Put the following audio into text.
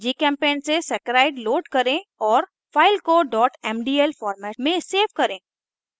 1 gchempaint से saccharide load करें और file को mdl format में सेव करें